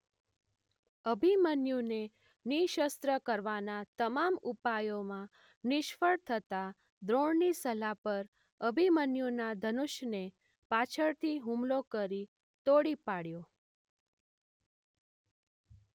અભિમન્યુને નિશસ્ત્ર કરવાના તમામ ઉપાયોમાં નિષ્ફળ થતાં દ્રોણની સલાહ પર અભિમન્યુના ધનુષ્યને પાછળથી હુમલો કરી તોડી પાડ્યો.